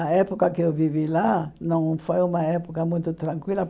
A época que eu vivi lá não foi uma época muito tranquila.